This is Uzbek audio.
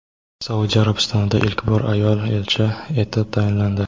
Saudiya Arabistonida ilk bor ayol elchi etib tayinlandi.